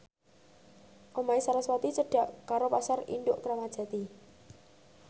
omahe sarasvati cedhak karo Pasar Induk Kramat Jati